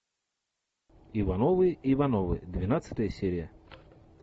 ивановы ивановы двенадцатая серия